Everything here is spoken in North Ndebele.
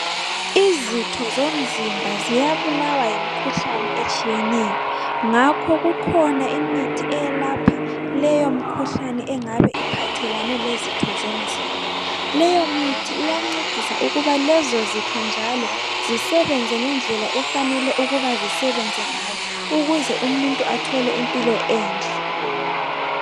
Izitho zomzimba ziyabulawa yimkhuhlani etshiyeneyo ngakho kukhona imithi eyelapha leyo mkhuhlane engabe iphathelene lezitho zomzimba . Leyo mithi iyancedisa ukuba lezo zitho njalo zisebenzenze ngendlela efanele ukuba zisebenze ngayo ukuze umuntu athole impilo enhle .